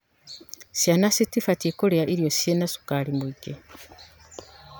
Ciana citibatie kũrĩa irio cina cukari mwingi.